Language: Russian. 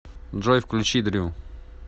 джой включи дрю